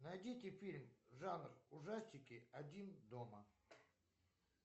найдите фильм жанр ужастики один дома